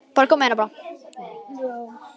Kostaði það mörg skeyti og ótalin símtöl.